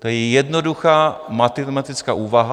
To je jednoduchá matematická úvaha.